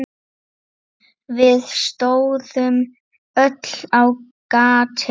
Við stóðum öll á gati.